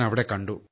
അവിടെ കണ്ടു